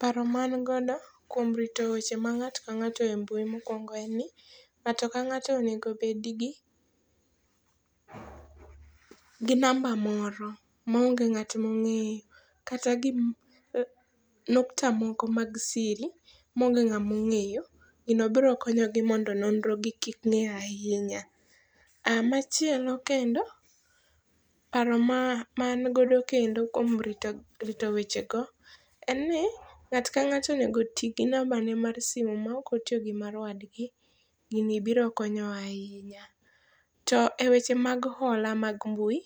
Paro ma an godo kuom rito weche ma ng'ato ka ng'ato e mbui mokuongo en ni ng'ato ka ng'ato onego bed gi namba moro ma onge ng'at mokeng'eyo. Kata nukta moko mag siri ma onge ng'amongeyo. Gini biro bedo konyogi mondo nonro gi ki ng'e ahinya. Machielo kendo paro ma an godo kendo kuom rito wech go en ni ng'ato ka ng'ato onego ti gi namba ne mar simo ma ok otiyo gi mar wadgi. Gini biro konyo ahinya. To e weche mag hola mag mbui,